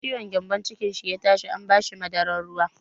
Da ciwon gyambon cikin shi ya tashi an ba shi madarar ruwa.